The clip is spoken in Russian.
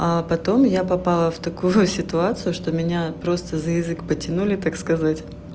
а потом я попала в такую ситуацию что меня просто за язык потянули так сказать